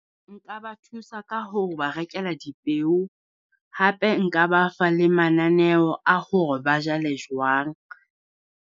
Nka ba thusa ka hore ba rekela dipeo, hape nka ba fa le mananeo a hore ba jale jwang.